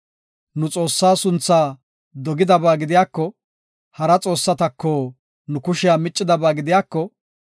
Nu, Xoossaa sunthaa dogidaba gidiyako, hara xoossatako nu kushiya miccidaba gidiyako,